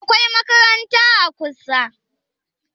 akwai makaranta a kusa?